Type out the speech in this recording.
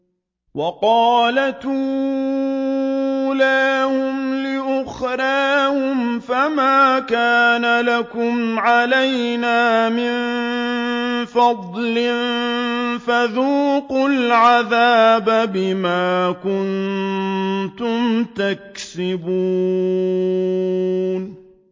وَقَالَتْ أُولَاهُمْ لِأُخْرَاهُمْ فَمَا كَانَ لَكُمْ عَلَيْنَا مِن فَضْلٍ فَذُوقُوا الْعَذَابَ بِمَا كُنتُمْ تَكْسِبُونَ